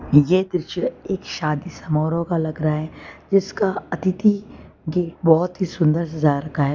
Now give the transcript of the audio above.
ये दृश्य एक शादी समारोह का लग रहा है जिसका अतिथि गेट बहोत ही सुंदर सजा रखा है।